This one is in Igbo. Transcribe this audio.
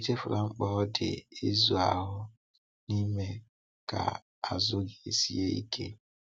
Echefula mkpa ọ dị ịzụ ahụ na ime ka azụ gị sie ike.